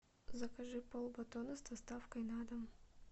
закажи полбатона с доставкой на дом